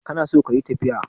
kana so kayi tafiya?